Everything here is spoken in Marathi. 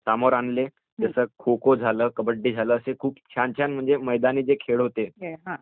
समोर आणलं. जसं खो-खो झालं, कबड्डीझालं असं खूप खूप छान जे मैदानी खेळ होते